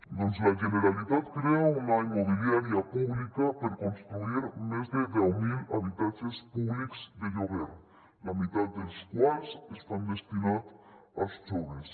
doncs la generalitat crea una immobiliària pública per construir més de deu mil habitatges públics de lloguer la meitat dels quals estan destinats als joves